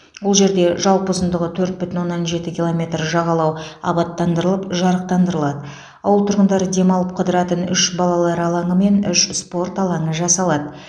ол жерде жалпы ұзындығы төрт бүтін оннан жеті километр жағалау абаттандырылып жарықтандырылады ауыл тұрғындары демалып қыдыратын үш балалар алаңы мен үш спорт алаңы жасалады